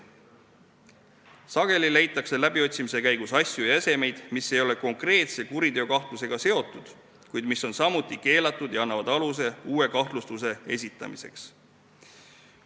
Sageli leitakse läbiotsimise käigus asju ja esemeid, mis ei ole konkreetse kuriteokahtlustusega seotud, kuid mis on samuti keelatud ja annavad aluse uue kahtlustuse esitamiseks.